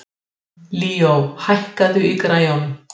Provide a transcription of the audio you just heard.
Sigurgísli, spilaðu tónlist.